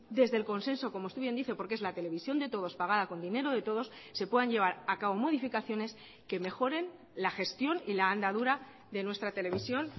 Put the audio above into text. desde el consenso como usted bien dice porque es la televisión de todos pagada con dinero de todos se puedan llevar a cabo modificaciones que mejoren la gestión y la andadura de nuestra televisión